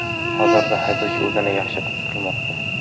Hozirda haydovchi o‘zini yaxshi his qilmoqda.